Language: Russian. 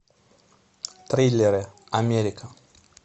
триллеры америка